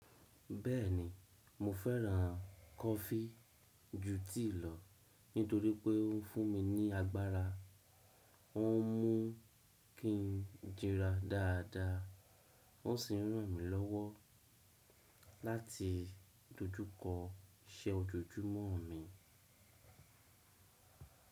Bẹ́ẹ̀ni, mo fẹ́ràn kọfí ju tíì lọ nítorí pé ó ń fún mi ní agbára, ó ń mú kí n jíra dáadáa, ó sì ń ràn mí lọ́wọ́ láti dojúkọ iṣẹ́ ojoojúmọ́ mi.